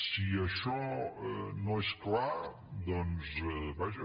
si això no és clar doncs vaja